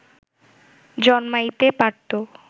জন্মাইতে পারত